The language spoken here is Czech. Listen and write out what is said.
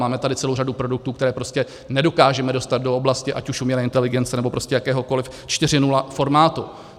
Máme tady celou řadu produktů, které prostě nedokážeme dostat do oblasti ať už umělé inteligence, nebo prostě jakéhokoliv 4.0 formátu.